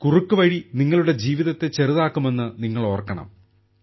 കുറുക്കുവഴി നിങ്ങളുടെ ജീവിതത്തെ ചെറുതാക്കുമെന്ന് നിങ്ങൾ ഓർക്കണം